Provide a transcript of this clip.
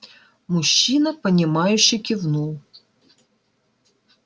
мужчина понимающе кивнул